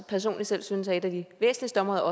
personligt selv synes er et af de væsentligste områder